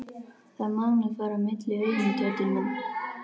Það má nú fara milliveginn, Tóti minn.